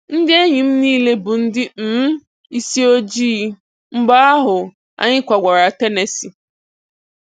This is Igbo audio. Ndị enyi m niile bụ ndị um isi ojii. Mgbe ahụ, anyị kwagara Tennessee.